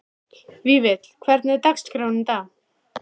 Vífill, hvernig er dagskráin í dag?